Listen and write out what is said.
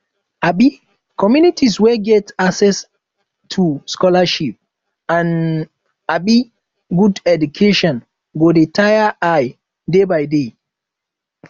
um communities wey get access um to scholarships and um good education go de tear eye day by day